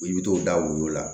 I bɛ t'o da woyo